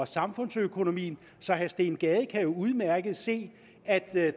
samfundsøkonomien så herre steen gade kan jo udmærket se at